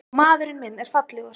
Og maðurinn minn er fallegur.